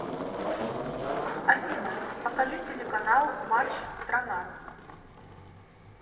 афина покажи телеканал матч страна